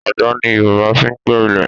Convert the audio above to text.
Àdá ni Yorùbá fi ń gbẹ́ ilẹ̀